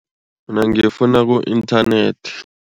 Mina ngifuna ku-inthanethi.